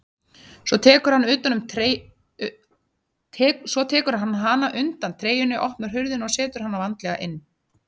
Svo tekur hann hana undan treyjunni, opnar hurðina og setur hana varlega inn.